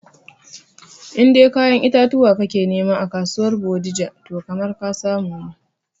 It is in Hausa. In dai kayan itatuwa ka ke nema a kasuwar bodija toh kamar ka samu ne